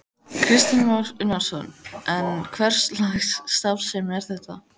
Kristján Már Unnarsson: En hverslags starfsemi er þetta?